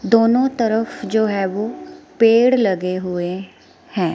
दोनों तरफ जो है वो पेड़ लगे हुए हैं।